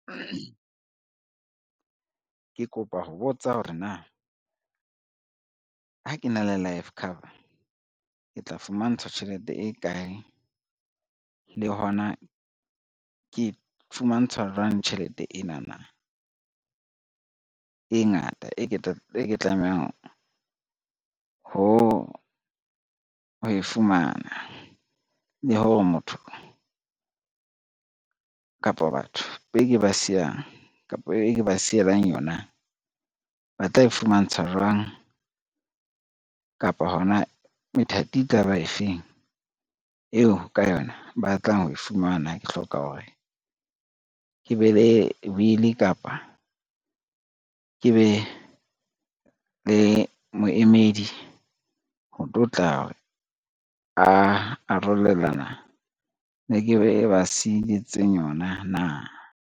Ke kopa ho botsa hore na, ha ke na le life cover ke tla fumantshwa tjhelete e kae le hona ke fumantshwa jwang tjhelete enana, e ngata e ke tlamehang ho e fumana. Le hore motho kapo batho be ke ba siyang kapo e ke ba sielang yona ba tla e fumantshwa jwang, kapo hona methati e tla ba efeng eo ka yona ba tlang ho e fumana, ke hloka hore ke be le will kapa ke be le moemedi, ho tlo tla re a arolelana ke be ba sietse yona na.